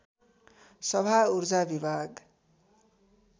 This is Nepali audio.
सभा ऊर्जा विभाग